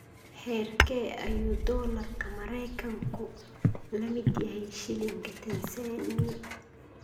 Heerkee ayuu dollarka maraykanku la mid yahay shilinka Tansaaniya?